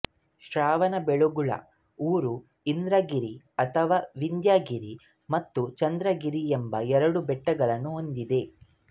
ಶ್ರವಣಬೆಳಗೊಳ ಊರು ಇಂದ್ರಗಿರಿ ಅಥವಾ ವಿಂದ್ಯಗಿರಿ ಮತ್ತು ಚಂದ್ರಗಿರಿ ಎಂಬ ಎರಡು ಬೆಟ್ಟಗಳನ್ನು ಹೊಂದಿದೆ